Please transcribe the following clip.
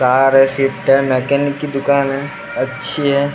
बाहर मकैनिक की दुकान है अच्छी है।